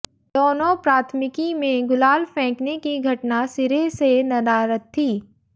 दोनों प्राथमिकी में गुलाल फेंकने की घटना सिरे से नदारद थी